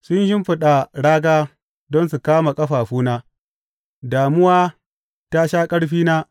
Sun shimfiɗa raga don su kama ƙafafuna, damuwa ta sha ƙarfina.